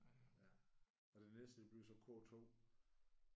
Og det næste det bliver så K2